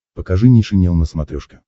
покажи нейшенел на смотрешке